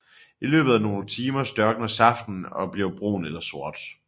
I løbet af nogle timer størkner saften og bliver brun eller sort